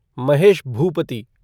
Mahesh Bhupathi